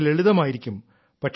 വളരെ ലളിതമായിരിക്കും